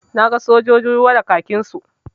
Na ga sojojin ruwa da kakinsu.